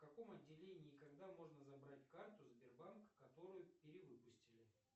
в каком отделении и когда можно забрать карту сбербанк которую перевыпустили